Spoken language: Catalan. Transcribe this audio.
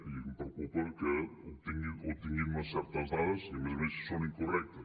i em preocupa que tingui unes certes dades i a més a més si són incorrectes